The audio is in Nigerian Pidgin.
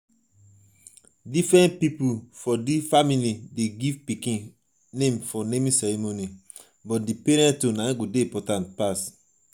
different pipo for di family dey give pikin name for naming ceremony.